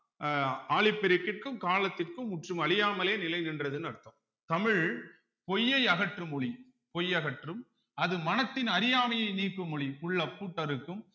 அஹ் ஆழிப் பெருக்கிற்கும் காலத்திற்கும் முற்றும் அழியாமலே நிலை நின்றதுன்னு அர்த்தம் தமிழ் பொய்யை அகற்றும் மொழி பொய் அகற்றும் அது மனத்தின் அறியாமையை நீக்கும் மொழி உள்ள பூட்டறுக்கும்